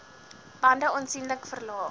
bande aansienlik verlaag